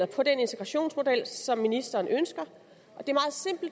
på den integrationsmodel som ministeren ønsker